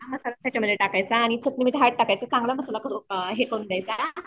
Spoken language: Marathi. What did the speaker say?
मसाला त्याच्यामध्ये टाकायचं चटणी मीठ हळद टाकायचं. चांगला मसाला हे करून घ्यायचा.